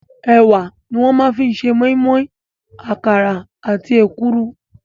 Ẹ̀wà ni wọ́n fi máa ń ṣe moinmoin, àkàrà àti èkuru.